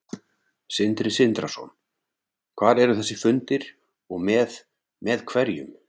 Sindri Sindrason: Hvar eru þessir fundir og með, með hverjum?